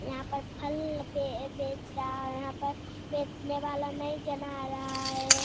यहाँ पर फल पे बेच रहा है यहाँ पर बेचने वाला नहीं जना रहा है।